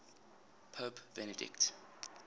pope benedict